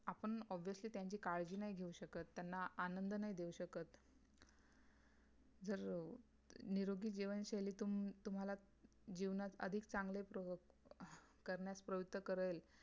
आपण obviously त्यांची काळजी नाही घेऊ शकत त्यांना आनंद नाही देऊ शकत जर निरोगी जीवनशैली तुम्ही तुम्हाला जीवनात अधिक चांगले प्रवु करण्यात प्रवृत्त करेल